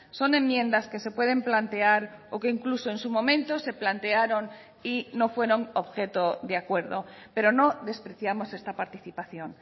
son enmiendas que se pueden plantear o que incluso en su momento se plantearon y no fueron objeto de acuerdo pero no despreciamos esta participación